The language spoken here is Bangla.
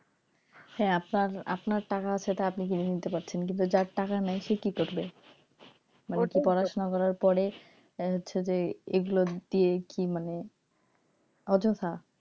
হ্যাঁ, আপনার আপনার টাকা আছে আপনি কিনা নিতে পারছেন কিন্তু যার টাকা নাই সে কি করবে মানে কি পড়াশুনা করার পরে হচ্ছে যে এগুলো দিয়ে কি মানে অযথা,